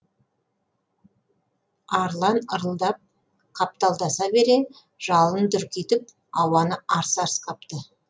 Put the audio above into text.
арлан ырылдап қапталдаса бере жалын дүрдитіп ауаны арс арс қапты